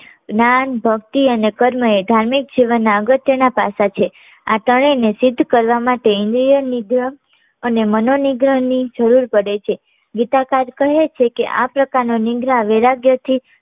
જ્ઞાન ભક્તિ અને કર્મ એ ધાર્મિક જીવનના અગત્યના પાસા છે. આ ત્રણેય ને સિદ્ધ કરવા માટે ની જપ અને મનો નિગ્રહ ની જરૂર પડે છે. ગીતાકાર કહે છે કે આ પ્રકાર નો નિગ્રહ વૈરાગ્ય થી